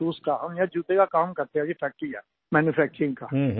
हम यहाँ जूते का काम करते हैं जी फैक्ट्री है मैन्यूफैक्चरिंग का